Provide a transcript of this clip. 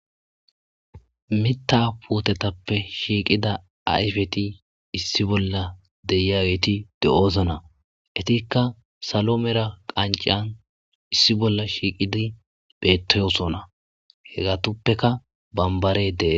mita pootetappe shiiqida ayfeti issi bolla de'iyageti de7osana etikka salo mera qancan issi bolla shiiqidi beettoyosona he gatuppeka bambare dee